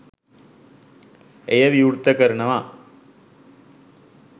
එය විවෘත කරනවා.